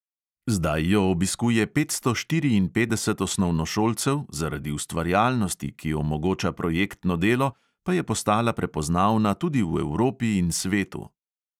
Zdaj jo obiskuje petsto štiriinpetdeset osnovnošolcev, zaradi ustvarjalnosti, ki omogoča projektno delo, pa je postala prepoznavna tudi v evropi in svetu.